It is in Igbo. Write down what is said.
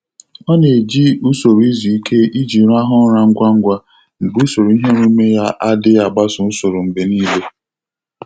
Ọ na-eji usoro izuike iji rahụ ụra ngwa ngwa mgbe usoro iheomume ya adịghị agbaso usoro mgbe niile.